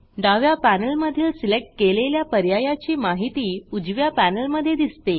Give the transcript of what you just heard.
डाव्या पॅनेलमधील सिलेक्ट केलेल्या पर्यायाची माहिती उजव्या पॅनेलमधे दिसते